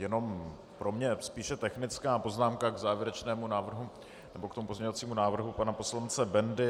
Jenom pro mě spíše technická poznámka k závěrečnému návrhu, nebo k tomu pozměňovacímu návrhu pana poslance Bendy.